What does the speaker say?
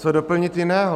Co doplnit jiného?